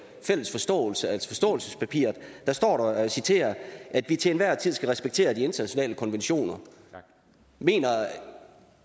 fælles forståelse altså forståelsespapiret og jeg citerer at vi til enhver tid skal respektere de internationale konventioner mener